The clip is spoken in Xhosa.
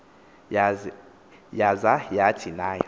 yaza yathi nayo